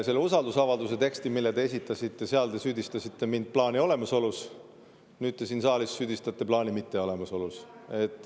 Selles usaldusavalduse tekstis, mille te esitasite, te süüdistasite mind plaani olemasolus, nüüd te siin saalis süüdistate plaani mitteolemasolus.